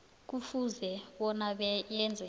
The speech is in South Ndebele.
kufuze bona yenze